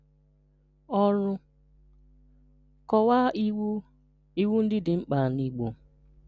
Ọrụ: Kọwaa iwu iwu ndị dị mkpa n’Igbo.